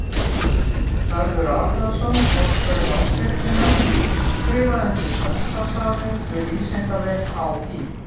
Hörður Arnarson, forstjóri Landsvirkjunar skrifaði undir samstarfssamning við Vísindavef HÍ.